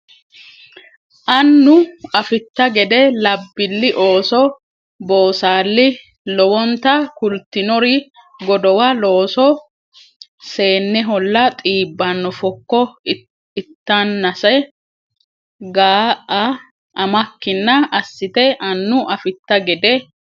Annu Afitta gede labbilli ooso boosaalli Lowonta kultinori godowa looso seenneholla xiibbanno fokko itannase Ga a amakkinna assite Annu Afitta gede.